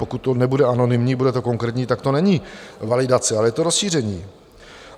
Pokud to nebude anonymní, bude to konkrétní, tak to není validace, ale je to rozšíření.